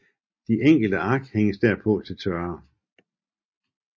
De enkelte ark hænges derpå til tørre